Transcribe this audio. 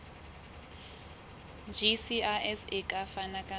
gcis e ka fana ka